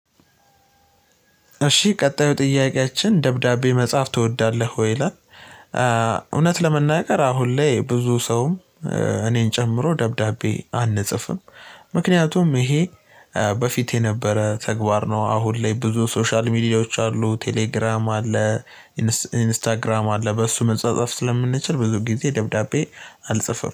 እሺ ቀጣዩ ጥያቄያችን ደብዳቤ መጻፍ ትወዳለህ ወይ? ይላል፣ እውነት ለመናገር አሁን ላይ ብዙ ሰውም እኔን ጨምሮ ደብዳቤ አንጽፍም ምክንያቱም ይሄ በፊት የነበረ ተግባር ነው። አሁን ላይ ብዙ ሶሻል ሚዲያዎች አሉ፣ ቴሌግራም አለ፣ ኢንስታግራም አለ፣ በሱ መጻጸፍ ስለምንችል፤ ብዙ ጊዜ ደብዳቤ አልጽፍም።